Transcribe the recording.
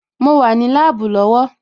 Mo wà ní láàbù lọ́wọ́